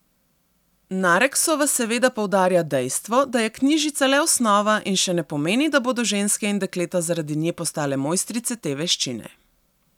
Nareksova seveda poudarja dejstvo, da je knjižica le osnova in še ne pomeni, da bodo ženske in dekleta zaradi nje postale mojstrice te veščine.